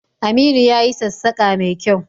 Aminu ya yi sassaƙa mai kyau